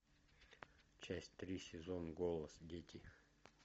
часть три сезон голос дети